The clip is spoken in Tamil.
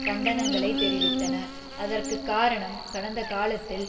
கண்டனங்களை தெரிவித்தன அதற்குக்காரணம் கடந்த காலத்தில்